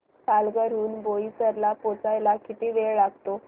पालघर हून बोईसर ला पोहचायला किती वेळ लागतो